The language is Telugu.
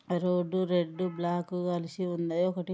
రోడ్ రెడ్ బ్లాక్ కలిసి ఉన్నాయి ఒకటీ. .